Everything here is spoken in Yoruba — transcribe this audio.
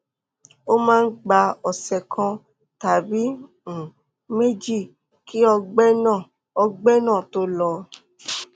ó máa ń gba ọsẹ kan tàbí um méjì kí ọgbẹ náà ọgbẹ náà tó lọ